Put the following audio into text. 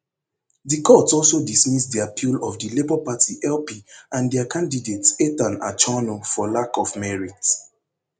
di court also dismiss di appeal of di labour party lp and dia candidate athan achonu for lack of merit